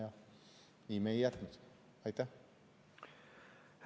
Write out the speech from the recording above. Ja nii me seda siia ei jätnudki.